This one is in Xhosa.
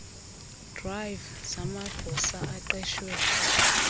drive zamagosa aqeshwe